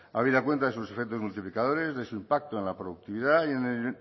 habida cuenta de sus efectos multiplicadores de su impacto en la productividad y el